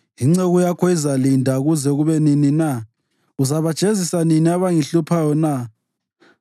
Inceku yakho izalinda kuze kube nini na? Uzabajezisa nini abangihluphayo na?